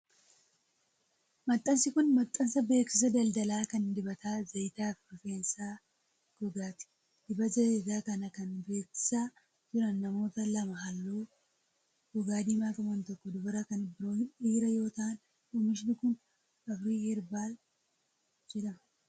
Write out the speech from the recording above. Maxxansi kun, maxxansa beeksisa daldalaa kan dibata zayitaa rifeensaa fi gogaati. Dibata zayitaa kana kan bebeeksisaa jiran namoota lama haalluu gogaa diimaa qaban tokko dubara kan biroo dhiira yoo ta'an, oomishni kun Afrii Herbaal jedhama.